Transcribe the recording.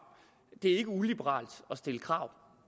det er ikke uliberalt at stille krav